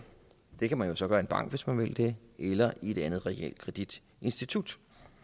det kan man så gøre i en bank hvis man vil det eller i et andet realkreditinstitut